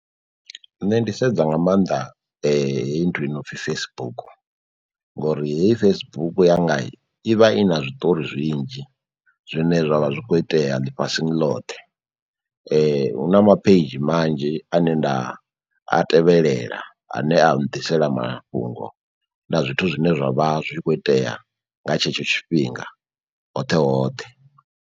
Nṋe ndi sedza nga mannḓa heyi nthu yo nopfhi Facebook, ngori hei Facebook yanga i vha i na zwiṱori zwinzhi zwine zwavha zwi kho itea ḽifhasini loṱhe. Hu na mapheidzhi manzhi ane nda a tevhelela ane a nḓisela mafhungo na zwithu zwine zwa vha zwi khou itea nga tshetsho tshifhinga hoṱhe hoṱhe.